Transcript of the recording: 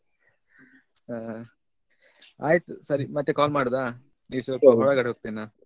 ಹಾ ಆಯ್ತು ಸರಿ ಮತ್ತೆ call ಮಾಡುದಾ ಈಗ ಸ್ವಲ್ಪ ಹೊರಗಡೆ ಹೋಗ್ತೇನೆ ನಾನು.